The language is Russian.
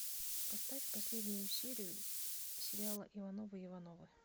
поставь последнюю серию сериала ивановы ивановы